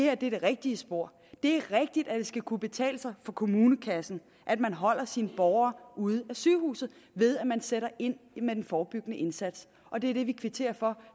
er det rigtige spor det er rigtigt at det skal kunne betale sig for kommunekassen at man holder sine borgere ude af sygehuset ved at man sætter ind med den forebyggende indsats og det er det vi kvitterer for